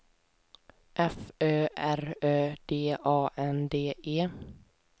F Ö R Ö D A N D E